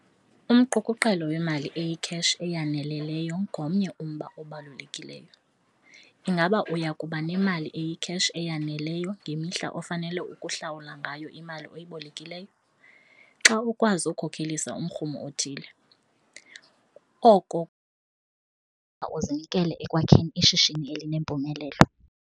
Umqukuqelo wemali eyikheshi eyaneleleyo ngomnye umba obalulekileyo - ingaba uya kuba nemali eyikheshi eyaneleyo ngemihla ofanele ukuhlawula ngayo imali oyibolekileyo. Xa ukwazi ukukhokelisa umrhumo othile, oko uzinikele ekwakheni ishishini elinempumelelo.